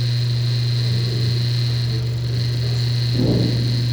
могу ли я взять напрокат в отеле квадроцикл